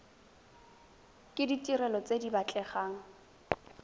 ke ditirelo tse di batlegang